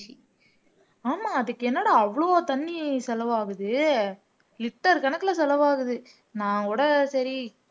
ஆமா அதுக்கு என்னடா அவ்ளோ தண்ணி செலவாகுது liter கணக்குல செலவாகுது நான் கூட சரி